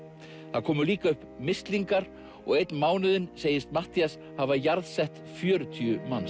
það komu líka upp mislingar og einn mánuðinn segist Matthías hafa jarðsett fjörutíu manns